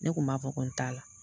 Ne kun b'a fɔ ko n t'a la.